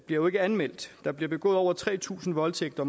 jo ikke anmeldt der bliver begået over tre tusind voldtægter